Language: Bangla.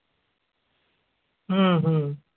হু হু